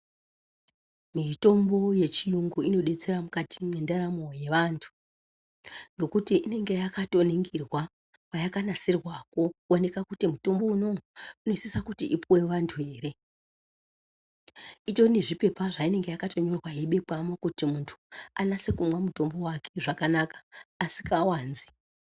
Mutombo yechiyungu inodetsera mukati mendaramo yevantu ngekuti inenge yakatoningirwa peyakanasirwa kuoneka kuti mutombo unowu unosisa kuti upuwe vanthu ere itori nezvipepa zveinenge yakanyorwa yeibekwamwo kuti munthu anase kumwa mutombo wake zvakanaka asikawanzi.